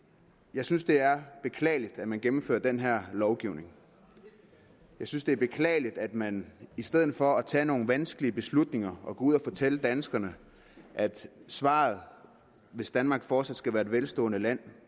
jeg synes det er beklageligt at man gennemfører den her lovgivning jeg synes det er beklageligt at man i stedet for at tage nogle vanskelige beslutninger og gå ud og fortælle danskerne at svaret hvis danmark fortsat skal være et velstående land